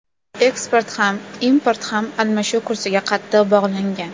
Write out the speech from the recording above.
Eksport ham, import ham almashuv kursiga qattiq bog‘langan.